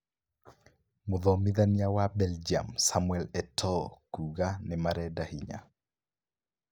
Mũthomithania wa Belgium Samuel Etoo kuga " Nĩmarenda hinya"